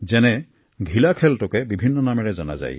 যেনে ঘিলা খেলবিধকে বিভিন্ন নামেৰে জনা যায়